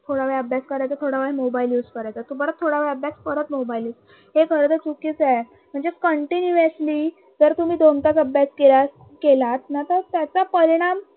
थोड्यावेळ अभ्यास करायचा थोड्यावेळ mobile use करायचा तो परत थोड्यावेळ अभ्यास परत mobile use हे खरतर चुकीच आहे म्हणजे contuniesly जर तुम्ही दोन तास अभ्यास केला` केलात ना तर त्याचा परिणाम